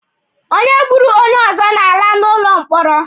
Onye gburu onye ọzọ na-ala n'ụlọ mkpọrọ.